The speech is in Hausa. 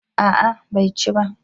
A'a bai ci ba